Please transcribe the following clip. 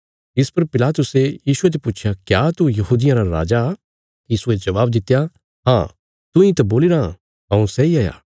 इस पर पिलातुसे यीशुये ते पुच्छया क्या तू यहूदियां रा राजा यीशुये जबाब दित्या हाँ तूंई त बोलीराँ हऊँ सैई हाया